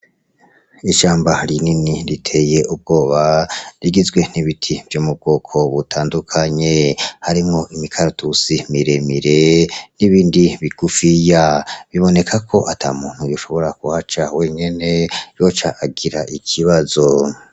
Ishamba rinini riteye ubwoba rigizwe rigizwe n'ibiti vyo mu bwoko butandukanye harimwo imikaratusi miremire n'ibindi bigufiya. Biboneka ko ata muntu yoshobora kuhaca wenyene, yoca agira ikibazo.